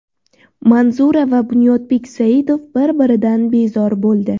Manzura va Bunyodbek Saidov bir-biridan bezor bo‘ldi .